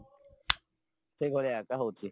ସେଇ ଭଳିଆ ତ ହଉଚି